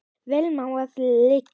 Vel má það liggja.